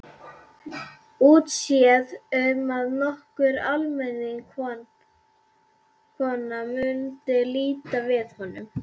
Útséð um að nokkur almennileg kona mundi líta við honum.